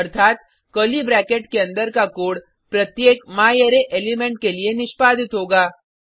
अर्थात curly bracket के अंदर का कोड प्रत्येक म्यारे एलिमेंट के लिए निष्पादित होगा